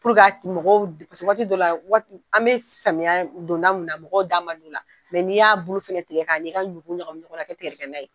mɔgɔw paseke waati dɔ la waati an bɛ samiya donda mun na mɔgɔw da man di o la n'i y'a bulu fana tigɛ k'an'i ka ɲugu ɲagami ɲɔgɔn na ka kɛ tigɛ dɛgɛ ye